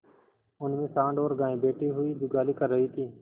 उनमें सॉँड़ और गायें बैठी हुई जुगाली कर रही थी